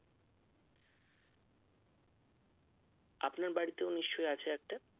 আপনার বাড়িতেও নিশ্চয় আছে একটা